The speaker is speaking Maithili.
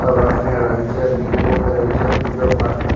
सब रखने रहे छै अ बिकबो करे छै पूजा पाठ करे --